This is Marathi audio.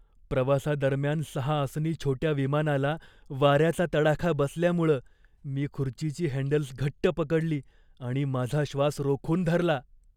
प्रवासादरम्यान सहा आसनी छोट्या विमानाला वाऱ्याचा तडाखा बसल्यामुळं मी खुर्चीची हँडल्स घट्ट पकडली आणि माझा श्वास रोखून धरला.